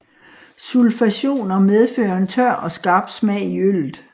Sulfationer medfører en tør og skarp smag i øllet